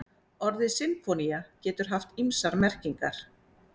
Orðið sinfónía getur haft ýmsar merkingar.